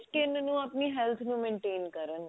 ਕਿਵੇਂ ਆਪਣੀ health ਨੂੰ maintain ਕਰਨਗੇ